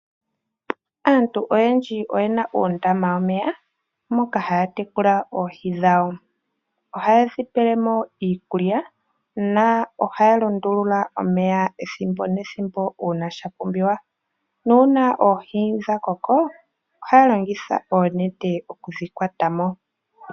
Aantu oyendji oyena uundama womeya moka haya tekula oohi dhawo. Ohayedhi pele mo iikulya na ohaya lundulula omeya ethimbo nethimbo una shapumbiwa. Nuuna dha koko ohaa longitha oonete okudhi kwata mo.